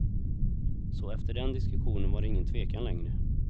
Så efter den diskussionen var det ingen tvekan längre.